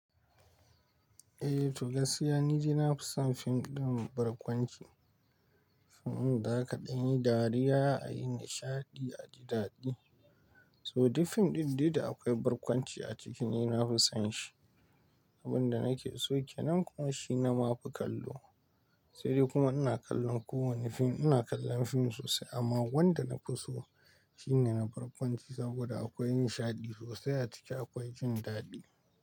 Eh to gaskiya ni dai na fi son fim ɗin barkwanci. Fim ɗin da zaka danyi dariya, a yi nishaɗi, aji dadi. So duk fim ɗin dai da akwai barkwanci a ciki ni na fi son shi. Abin da nake so ke nan kuma shi na mafi kallo. Sai dai kuma ina kallon kowane fim, ina kallon fim sosai amma wanda nafi so shine na barkwanci saboda akwai nishaɗi sosai a ciki, akwai jin daɗi.